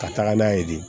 Ka taga n'a ye de